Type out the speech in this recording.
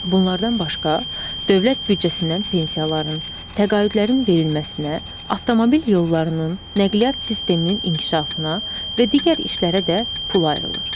Bunlardan başqa dövlət büdcəsindən pensiyaların, təqaüdlərin verilməsinə, avtomobil yollarının, nəqliyyat sisteminin inkişafına və digər işlərə də pul ayrılır.